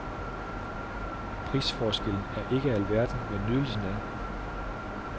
Prisforskellen er ikke alverden, men nydelsen er.